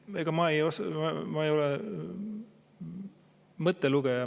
Ega ma ei ole mõttelugeja.